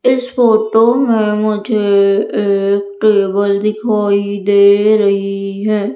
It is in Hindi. इस फोटो में मुझे एक टेबल दिखाई दे रही है।